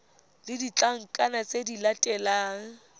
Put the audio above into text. le ditlankana tse di latelang